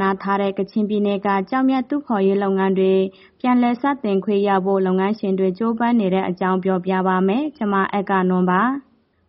နားထားတဲ့ ကချင်ပြည်နယ်က ကျောက်မျက်တူးဖော်ရေးလုပ်ငန်းတွေ ပြန်လည်စတင်ခွင့်ရဖို့ လုပ်ငန်းရှင်တွေ ကြိုးပမ်းနေတဲ့အကြောင်း ပြောပြပါမယ်။ ဗွီအိုအေမြန်မာပိုင်း သတင်းထောက်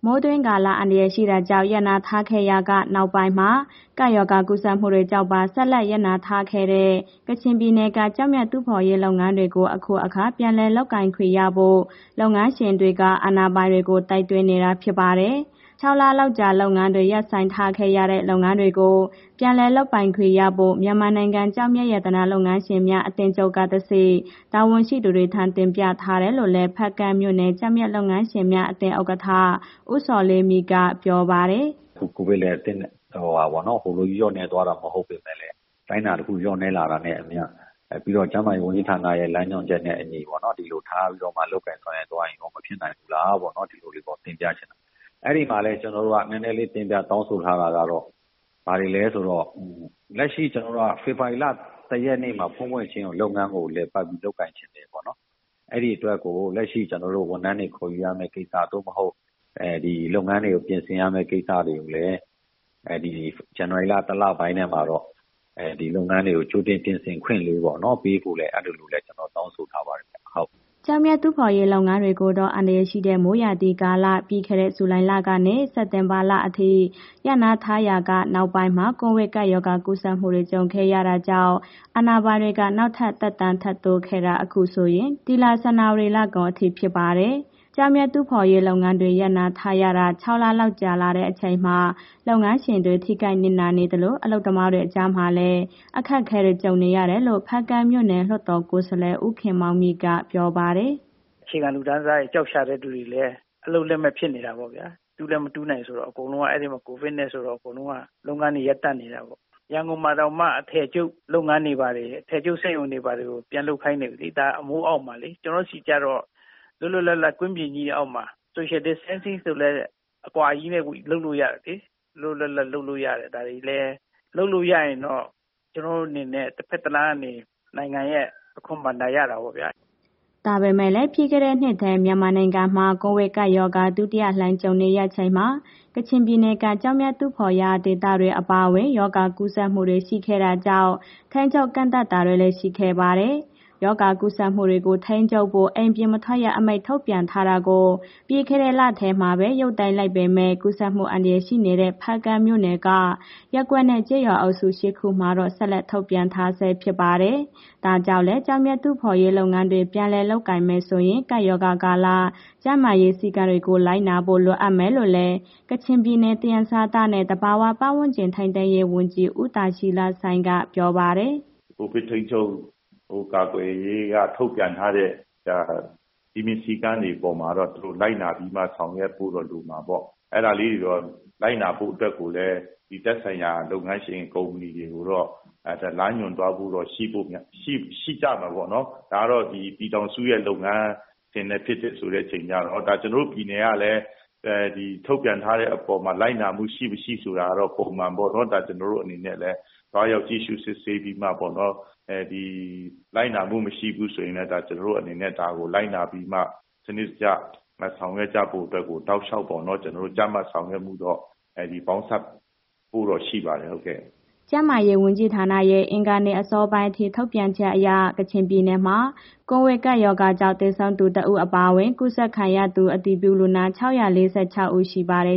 မအဂ္ဂနွန်က သတင်းပေးပို့ထားပါတယ်။ မိုးတွင်းကာလ အန္တရာယ်ရှိတာကြောင့် ရပ်နားထားခဲ့ရာက နောက်ပိုင်းမှာ ကပ်ရောဂါကူးစက်မှုတွေကြောင့်ပါ ဆက်လက် ရပ်နားထားတဲ့ ကချင်ပြည်နယ်က ကျောက်မျက်တူးဖော်ရေး လုပ်ငန်းတွေကို အခုအခါ ပြန်လည်လုပ်ခွင့်ရဖို့ လုပ်ငန်းရှင်တွေက အာဏာပိုင်တွေကို တိုက်တွန်းနေတာ ဖြစ်ပါတယ်။ ၆ လလောက်ကြာ လုပ်ငန်းတွေ ရပ်ဆိုင်းထားခဲ့ရတဲ့ လုပ်ငန်းတွေကို ပြန်လည်လုပ်ပိုင်ခွင့်ရဖို့ မြန်မာနိုင်ငံ ကျောက်မျက် ရတနာလုပ်ငန်းရှင်များ အသင်းချုပ်ကတဆင့် တာဝန်ရှိသူတွေထံ တင်ပြထားတယ်လို့လည်း ဖားကန့်မြို့နယ် ကျောက်မျက်လုပ်ငန်းရှင်များ အသင်း ဥက္ကဋ္ဌ ဦးဇော်လေးမြင့်က ပြောပါတယ်။ “အခုကိုဗစ်လည်း ဟိုလိုကြီး လျော့နည်းတာမျိုး မဟုတ်ပေမဲ့လည်း အတိုင်းအတာတစ်ခုလျော့နည်းလာတာနဲ့အမျှ ပြီးတော့ ကျန်းမာရေးဝန်ကြီးဌာနရဲ့ လမ်းညွှန်ချက်နဲ့ အညီပေါ့နော် ဒီလိုထားပြီးတော့ လုပ်ကိုင်ဆောင်ရွက်သွားရင်ရော မဖြစ်နိုင်ဘူးလားပေါ့နော်... ဒီလိုလေးပေါ့တင်ပြချင်တာ၊ အဲ့ဒီမှာလည်း ကျနော်တို့က နည်းနည်းလေး တင်ပြတောင်းဆိုထားတာကတော့ ဘာတွေလဲဆိုတော့ လက်ရှိ ဖေဖော်ဝါရီလ ၁ ရက်နေ့မှာ ဖွင့်ဖွင့်ချင်းကို လုပ်ငန်းကို လည်ပတ်ပြီး လုပ်ငန်းချင်တယ်ပေါ့နော်။ ဒီအတွက်ကို လက်ရှိ ကျနော်တို့ ဝန်ထမ်းတွေ ခေါ်ယူရမယ့် ကိစ္စ သို့မဟုတ် လုပ်ငန်းတွေပြင်ဆင်ရမယ့်ကိစ္စတွေကိုလည်း ဇန်နဝါရီလ တစ်လပိုင်းထဲမှာတော့ လုပ်ငန်းတွေကို ကြိုတင်ပြင်ဆင်ခွင့်လေးပေ့ါနော်... ပေးဖို့ အဲ့ဒီလိုလည်း ကျနော်တောင်းဆိုထားပါတယ်။” ကျောက်မျက်တူးဖော်ရေး လုပ်ငန်းတွေကိုတော့ အန္တရာယ်ရှိတဲ့ မိုးရာသီကာလ ပြီးခဲ့တဲ့ ဇူလိုင်လကနေ စက်တင်ဘာလအထိ ရပ်နားထားရာက နောက်ပိုင်းမှာ ကိုဗစ်ရောဂါကူးစက်မှုတွေ ကြုံခဲ့ရတာကြောင့် အာဏာပိုင်တွေက နောက်ထပ် သက်တမ်းတိုးလာခဲ့တာ အခုဆိုရင် ဒီလ ဇန်နဝါရီလကုန်အထိ ဖြစ်ပါတယ်။ ကျောက်မျက်တူးဖော်ရေးလုပ်ငန်းတွေ ရပ်နားထားရတာ ၆ လလောက် ကြာလာတဲ့အချိန်မှာ လုပ်ငန်းရှင်တွေ ထိခိုက်နစ်နာနေသလို အလုပ်သမားတွေကြားမှာလည်း အခက်အခဲတွေ ကြုံနေရတယ်လို့ ဖားကန့်မြို့နယ် လွှတ်တော်ကိုယ်စားလှယ် ဦးခင်မောင်မြင့်က ပြောပါတယ်။ “အခြေခံလူတန်းစားတွေ ကျောက်ရှာတဲ့ သူတွေလည်း အလုပ်လက်မဲ့ဖြစ်နေတာပေါ့ဗျာ။ တူးလည်း မတူးနိုင်ဆိုတော့ အကုန်လုံးအဲ့ဒီမှာ ကိုဗစ်နဲ့ ဆိုတော့ အကုန်လုံးက လုပ်ငန်းတွေ ရပ်တန့်နေတာပေါ့။ ရန်ကုန်မှာတောင်မှ အထည်ချုပ်လုပ်ငန်းတွေဘာတွေ အထည်စက်ရုံတွေ၊ ဘာတွေပြန်လုပ်ခိုင်းတာလေ... အမိုးအောက်မှာလေ။ ကျနော်တို့ဆီကျတော့ လွတ်လွတ်လပ်လပ် ကွင်းပြင်ကြီးအောက်မှာ social distancing ဆိုလည်း အကွာကြီးနဲ့ လုပ်လို့ရတယ်လေ။ လွတ်လွတ်လပ်လပ်လုပ်လို့ရတယ်။ ဒါတွေလည်း လုပ်လို့ရရင်တော့ ကျနော်အနေနဲ့ တစ်ဘက်တစ်လမ်းကနေ နိုင်ငံရဲ့ အခွန်ဘဏ္ဍာရတာပေါ့ဗျာ။” ဒါပေမဲ့လည်း ပြီးခဲ့တဲ့နှစ်ထဲ မြန်မာနိုင်ငံမှာ ကိုဗစ်ကပ်ရောဂါ ဒုတိယလှိုင်းကြုံရချိန်မှာ ကချင်ပြည်နယ်က ကျောက်မျက်တူးဖော်ရာ ဒေသတွေ အပါအဝင် ရောဂါကူးစက်မှုတွေ ရှိခဲ့တာကြောင့် ထိန်းချုပ်ကန့်သတ်တာတွေလည်း ရှိခဲ့ပါတယ်။ ရောဂါကူးစက်မှုတွေကို ထိန်းချုပ်ဖို့ အိမ်ပြင်မထွက်ရ အမိန့်ထုတ်ပြန်ထားတာကို ပြီးခဲ့တဲ့လထဲမှာပဲ ရုပ်သိမ်းလိုက်ပေမဲ့ ကူးစက်မှု အန္တရာယ်ရှိနေတဲ့ ဖားကန့်မြို့နယ်က ရပ်ကွက်နဲ့ ကျေးရွာအုပ်စု ၈ ခုမှာတော့ ဆက်လက် ထုတ်ပြန်ထားဆဲ ဖြစ်ပါတယ်။ ဒါကြောင့်လည်း ကျောက်မျက် တူးဖော်ရေးလုပ်ငန်းတွေ ပြန်လည်လုပ်ကိုင်မယ်ဆိုရင် ကပ်ရောဂါကာလ ကျန်းမာရေးစည်းကမ်းတွေကို လိုနာဖို့ လိုအပ်မယ်လို့လည်း ကချင်ပြည်နယ်၊ သယံဇာတနဲ့ သဘာဝပတ်ဝန်းကျင် ထိန်းသိမ်းရေးဝန်ကြီး ဦးဒါရှီလဆိုင်းက ပြောပါတယ်။ “ကိုဗစ်ထိန်းချုပ်ကာကွယ်ရေးက ထုတ်ပြန်ထားတဲ့ စည်းမျဉ်းစည်းကမ်းတွေ အပေါ်မှာတော့ သူတို့လိုက်နာပြီးမှ ဆောင်ရွက်ဖို့တော့ လိုမှာပေါ့။ အဲ့ဒါလေးကို လိုက်နာဖို့အတွက်ကိုလည်း ဒီသက်ဆိုင်ရာလုပ်ငန်းရှင် ကုမ္ပဏီတွေကိုတော့ လမ်းညွှန်သွားဖို့တော့ရှိဖို့များမယ် ရှိကြမှာပေါ့နော်။ ဒါတော့ ပြည်ထောင်စုရဲ့ လုပ်ငန်းအခြေအနေဖြစ်တဲ့အခါကျတော့ ကျနော်တို့ပြည်နယ်ကလည်း ဒီထုတ်ပြန်အပေါ်မှာ လိုက်နာမှုရှိ၊ မရှိဆိုတာကိုတော့ ပုံမှန်ပေါ့နော်... ကျနော်တို့အနေနဲ့လည်း သွားရောက်ကြည့်ရှုစစ်ဆေးပြီးမှပေါ့နော်... လိုက်နာမှုမရှိဘူးဆိုရင်လည်း ကျနော်အနေနဲ့ ဒါကို လိုက်နာပြီးမှ စနစ်တကျ ဆောင်ရွက်ကြဖို့အတွက်ကို တောက်လျှောက်ပေါ့နော်.. ကြပ်မတ်ဆောင်ရွက်မှုတော့ ပေါင်းစပ်ဖို့တော့ ရှိပါတယ်။” ကျန်းမာရေးနဲ့ အားကစားဝန်ကြီးဌာနရဲ့ အင်္ဂါနေ့ အစောပိုင်းအထိ ထုတ်ပြန်ချက်အရ ကချင်ပြည်နယ်မှာ ကိုဗစ်ကပ်ရောဂါကြောင့် သေဆုံးသူ ၁ ဦး အပါအဝင် ရောဂါကူးစက်သူ အတည်ပြုလူနာ ၆၄၆ ဦး ရှိပါတယ်